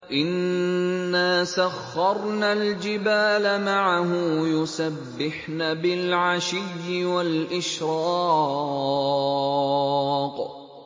إِنَّا سَخَّرْنَا الْجِبَالَ مَعَهُ يُسَبِّحْنَ بِالْعَشِيِّ وَالْإِشْرَاقِ